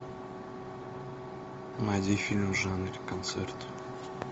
найди фильм в жанре концерт